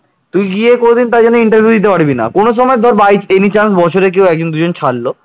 তুই গিয়ে কোনদিন তার জন্য interview দিতে পারবি না কোন সময় by any chance বছরে একদম দু'জনকেও ছাড়লো